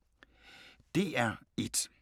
DR1